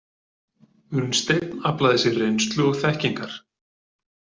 Unnsteinn aflaði sér reynslu og þekkingar.